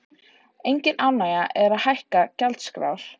Engin ánægja að hækka gjaldskrár